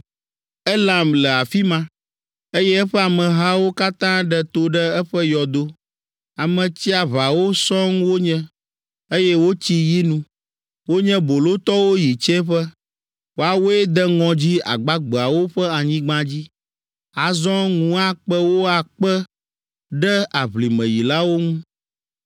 “Elam le afi ma, eye eƒe amehawo katã ɖe to ɖe eƒe yɔdo, Ame tsiaʋawo sɔŋ wonye, eye wotsi yinu, wonye bolotɔwo yi tsiẽƒe, woawoe de ŋɔdzi agbagbeawo ƒe anyigba dzi; azɔ ŋu akpe wo akpe ɖe aʋlimeyilawo ŋu.